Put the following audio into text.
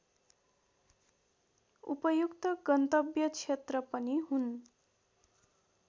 उपयुक्त गन्तव्य क्षेत्र पनि हुन्